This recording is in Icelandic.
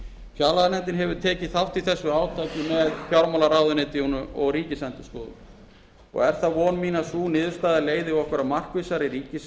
sé þörf fjárlaganefndin hefur tekið þátt í þessu átaki með fjármálaráðuneytinu og ríkisendurskoðun og er það von mín að sú niðurstaða leiði okkur að markvissari